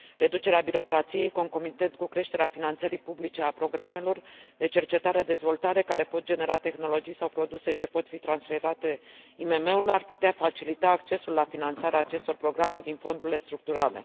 Reducerea birocrației concomitent cu creșterea finanțării publice a programelor de cercetare și dezvoltare care pot genera tehnologii sau produse ce pot fi transferate IMM urilor, ar putea facilita accesul la finanțarea acestor programe din fondurile structurale.